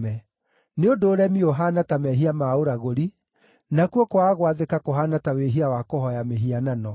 Nĩ ũndũ ũremi ũhaana ta mehia ma ũragũri, nakuo kwaga gwathĩka kũhaana ta wĩhia wa kũhooya mĩhianano.